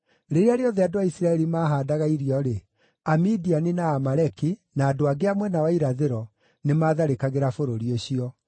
Rĩrĩa rĩothe andũ a Isiraeli maahaandaga irio-rĩ, Amidiani, na Aamaleki, na andũ angĩ a mwena wa irathĩro nĩmatharĩkagĩra bũrũri ũcio.